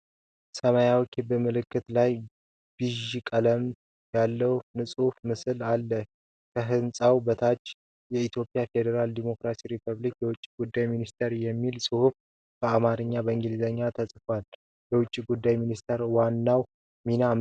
ሰማያዊ ክብ ምልክት ላይ ቢዥ ቀለም ያለው ሕንጻ ምስል አለ። ከህንጻው በታች "የኢትዮጵያ ፌደራላዊ ዲሞክራሲያዊ ሪፐብሊክ የውጭ ጉዳይ ሚኒስቴር" የሚል ፅሁፍ በአማርኛና በእንግሊዝኛ ተፅፎአል። የውጭ ጉዳይ ሚኒስቴር ዋናው ሚና ምንድን ነው?